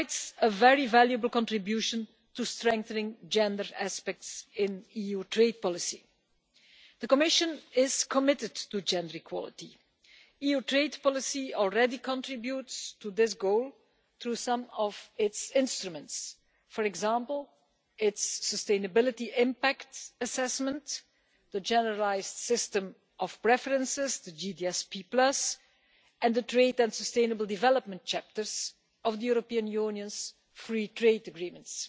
makes a very valuable contribution to strengthening gender aspects in EU trade policy. The Commission is committed to gender equality. EU trade policy already contributes to this goal through some of its instruments, for example, its sustainability impact assessments, the Generalised System of Preferences, the GSP and the Trade and Sustainable Development Chapters of the European Union's free trade agreements.